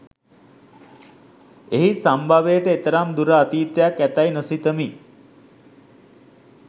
එහි සම්භවයට එතරම් දුර අතීතයක් ඇතැයි නොසිතමි